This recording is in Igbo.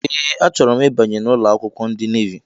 Ee achoro m ịbanye n' ụlọakwụkwọ ndị navi.